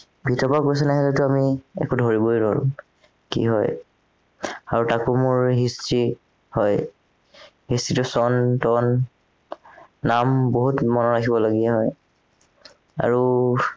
ভিতৰৰ পৰা question আহিলেতো আমি একো ধৰিবই নোৱাৰো কি হয় আৰু তাকো মোৰ history হয় history টো চন তন নাম বহুত মনত ৰাখিবলগীয়া হয় আৰু